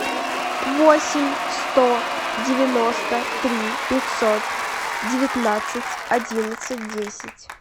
восемь сто девяносто три пятьсот девятнадцать одиннадцать десять